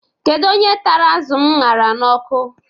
Kedu onye tara azu m ṅara n'ọkụ?